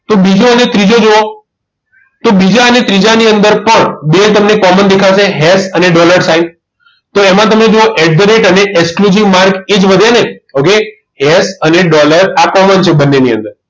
તો બીજો અને ત્રીજો જોવા બીજા અને ત્રીજા ની અંદર ની પણ બે તમને common દેખાશે હેસ અને dollar sign તો એમાં તમે જુઓ at the rate અને exclusive mark એ જ વધે ને હવે યસ અને dollar આ common છે બંનેની અંદર